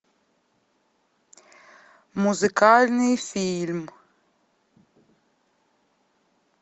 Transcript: музыкальный фильм